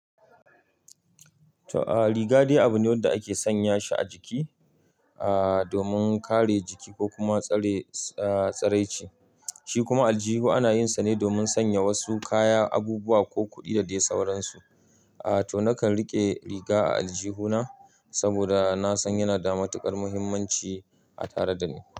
To, a, riga dai abu ne wanda ake sanya shi a jiki, a, domin kare jiki ko kuma tsare, a, tsaraici. Shi kuma aljihu ana yinsa ne domin sanya wasu kaya, abubuwa ko kuɗi da dai sauransu. A, to nakan riƙe riga a aljihu na saboda na san yana da matuƙar muhimmanci a tare da ni.